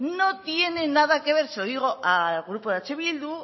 no tiene nada que ver se lo digo al grupo de eh bildu